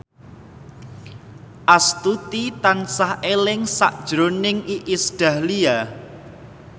Astuti tansah eling sakjroning Iis Dahlia